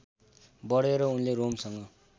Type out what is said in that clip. बढेर उनले रोमसँग